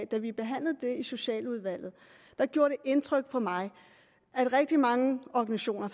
da vi behandlede det i socialudvalget gjorde det indtryk på mig at rigtig mange organisationer